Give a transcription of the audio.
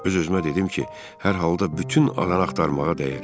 Öz-özümə dedim ki, hər halda bütün alanı axtarmağa dəyər.